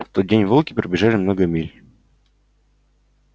в тот день волки пробежали много миль